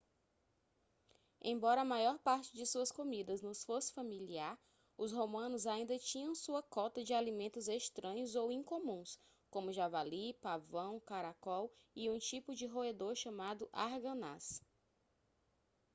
embora a maior parte de suas comidas nos fosse familiar os romanos ainda tinham sua cota de alimentos estranhos ou incomuns como javali pavão caracol e um tipo de roedor chamado arganaz